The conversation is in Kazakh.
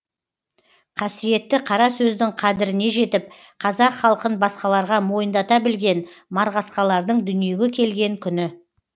қасиетті қара сөздің қадіріне жетіп қазақ халқын басқаларға мойындата білген марғасқалардың дүниеге келген күні